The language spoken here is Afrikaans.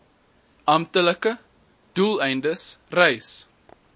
amptelike doeleindes reis